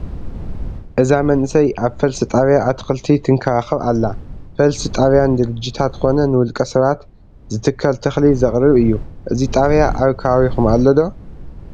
እዛ መንእሰይ ኣብ ፈልሲ ጣብያ ኣትክልቲ ትንከባኸብ ኣሎ፡፡ ፈልሲ ጣብያ ንድርጅታት ኮነ ንውልቀ ሰባት ዝትከል ተኽሊ ዘቕርብ እዩ፡፡ እዚ ጣብያ ኣብ ከባቢኹም ኣሎ ዶ?